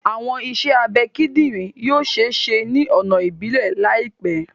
Awọn iṣẹ abẹ kidinrin yoo ṣee ṣe ni ọna ibilẹ laipẹ